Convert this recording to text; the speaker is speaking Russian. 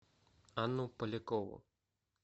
анну полякову